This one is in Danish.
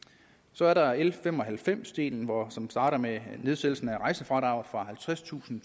så er der l fem og halvfems delen som starter med nedsættelsen af rejsefradraget fra halvtredstusind